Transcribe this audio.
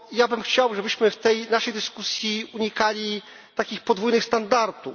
Ja bym chciał, żebyśmy w tej naszej dyskusji unikali takich podwójnych standardów.